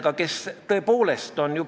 Muide, meil oli komisjonis päris suur konsensus.